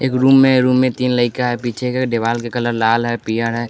एक रूम में रूम में तीन लड़का है पीछे के दीवाल के कलर लाल है पीला है।